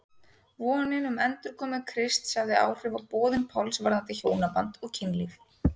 Vonin um endurkomu Krists hafði áhrif á boðun Páls varðandi hjónaband og kynlíf.